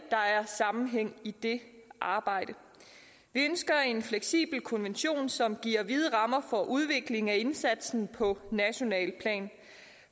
sammenhæng i det arbejde vi ønsker en fleksibel konvention som giver vide rammer for udvikling af indsatsen på nationalt plan